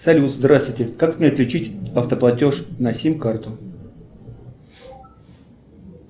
салют здравствуйте как мне отключить автоплатеж на сим карту